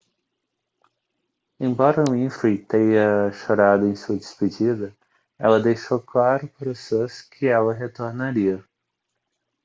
embora winfrey tenha chorado em sua despedida ela deixou claro para os fãs que ela retornaria